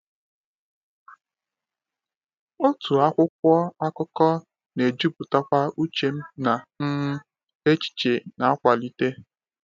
Otu akwụkwọ akụkọ na-ejupụtakwa uche m na um echiche na-akwalite.